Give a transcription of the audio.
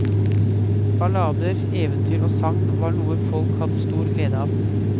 Ballader, eventyr og sagn var noe folk hadde stor glede av.